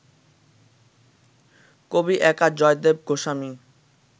কবি একা জয়দেব গোস্বামী